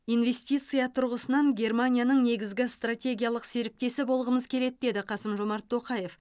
инвестиция тұрғысынан германияның негізгі стратегиялық серіктесі болғымыз келеді деді қасым жомарт тоқаев